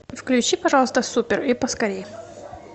включи пожалуйста супер и поскорее